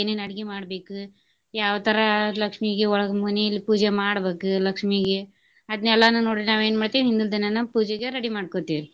ಏನೇನ ಅಡ್ಗಿ ಮಾಡ್ಬೇಕ ಯಾವ ತರ ಲಕ್ಷ್ಮಿಗೆ ಒಳಗ ಮನೀಲಿ ಪೂಜೆ ಮಾಡ್ಬೇಕ ಲಕ್ಷ್ಮೀಗೆ ಅದ್ನೇಲ್ಲಾನು ನೋಡ್ರಿ ನಾವ್ ಏನ್ ಮಾಡ್ತಿವಿ ಹಿಂದಿನ್ ದಿನಾನ ಪೂಜೆಗೆ ready ಮಾಡ್ಕೊತೆವ್ರಿ.